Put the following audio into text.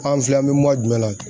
An filɛ an mɛ jumɛn la?